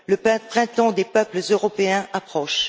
Le printemps des peuples européens approche.